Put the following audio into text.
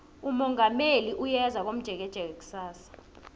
umongameli uyeza komjekejeke kusasa